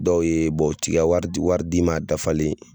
Dɔw ye u ti ka wari di wari d'i ma a dafalen